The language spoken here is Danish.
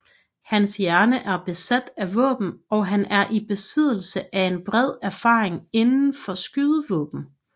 Hans hjerne er besat af våben og han er i besiddelse af en bred erfaring inde for skydevåben